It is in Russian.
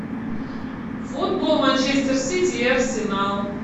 футбол манчестер сити и арсенал